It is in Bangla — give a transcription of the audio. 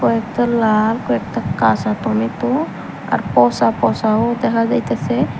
কয়েকটা লাল কয়েকটা কাঁচা টমেটো আর পচা পচাও দেখা যাইতাসে।